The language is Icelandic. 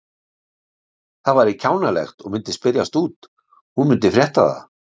Það væri kjánalegt og myndi spyrjast út, hún myndi frétta það.